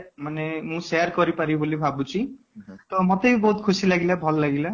ମାନେ ମୁଁ share କରିପାରିବି ବୋଲି ଭାବୁଛି ତ ମତେ ବି ବହୁତ ଖୁସି ବି ଲାଗିଲା ଭଲ ଲାଗିଲା